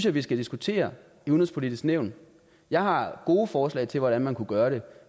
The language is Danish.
at vi skal diskutere i udenrigspolitisk nævn jeg har gode forslag til hvordan man kunne gøre det